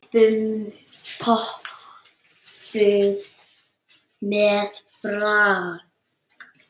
Pompuð með pragt.